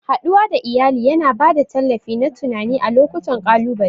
Haɗuwa da iyali yana ba da tallafi na tunani a lokutan ƙalubale.